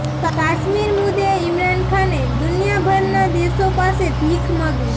કાશ્મીર મુદ્દે ઇમરાન ખાને દુનિયાભરના દેશો પાસે ભીખ માંગી